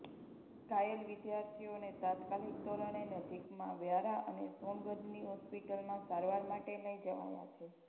ઘાયલ વિદ્યાર્થીઓને તાત્કાલિક ધોરણે નજીકમાં વ્યારા અને સોનગઢની હોસ્પિટલમાં સારવાર માટે લઈ જવાયા છે